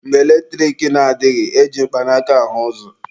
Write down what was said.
Mgbe eletrik na adịghị, e ji mkpanaaka ahụ ụzọ.